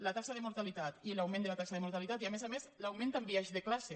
la taxa de mortalitat i l’augment de la taxa de mortalitat i a més a més l’augment amb biaix de classe